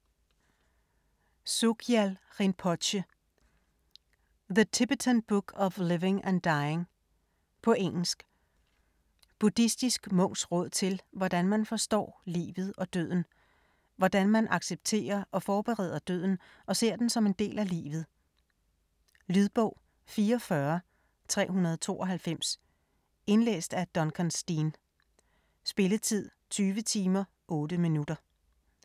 Rinpoche, Sogyal: The Tibetan book of living and dying På engelsk. Buddhistisk munks råd til, hvordan man forstår livet og døden. Hvordan man accepterer og forbereder døden og ser den som en del af livet. Lydbog 44392 Indlæst af Duncan Steen. Spilletid: 20 timer, 8 minutter.